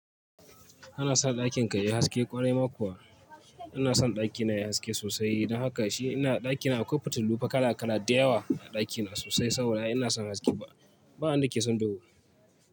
Kana san ɗakin ka yayi haske? Kwarai ma kuwa. Ina son ɗaki na yayi haske sosai. Don haka shi ina ɗaki na akwai fitilu fa kala kala da yawa a ɗaki na sosai saboda ina son haske. Ba, ba wanda ke son duhu.